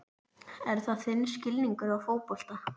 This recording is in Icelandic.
Er það þinn skilningur á fótbolta?